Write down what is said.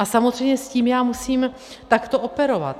A samozřejmě s tím já musím takto operovat.